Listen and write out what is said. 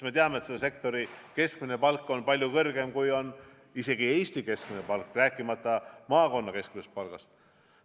Me teame, et selle sektori keskmine palk on palju kõrgem kui Eesti keskmine palk, rääkimata maakonna keskmisest palgast.